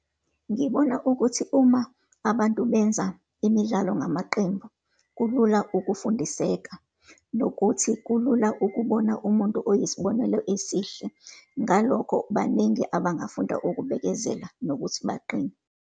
Ngibona ukuthi uma abantu benza imidlalo ngamaqembu, kulula ukufundiseka, nokuthi kulula ukubona umuntu oyisibonelo esihle. Ngalokho, baningi abangafunda ukubekezela nokuthi baqine.